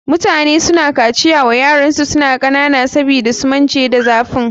Mutane suna kaciya wa yaransu suna kanana sabida su mance da zafin.